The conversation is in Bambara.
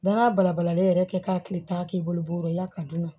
Danaya bala balalen yɛrɛ kɛ ka tile tan k'i bolo i y'a ka dun